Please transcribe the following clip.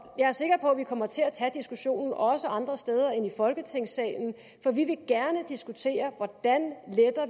jeg er sikker på at vi kommer til at tage diskussionen også andre steder end i folketingssalen for vi vil gerne diskutere hvordan